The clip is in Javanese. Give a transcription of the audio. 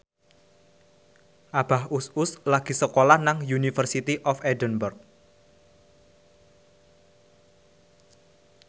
Abah Us Us lagi sekolah nang University of Edinburgh